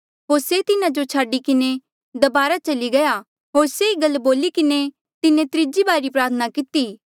होर से तिन्हा जो छाडी किन्हें दबारा चली गया होर से ई गल बोली किन्हें तिन्हें त्रीजी बारी प्रार्थना किती